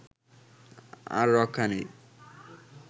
আর রক্ষা নেই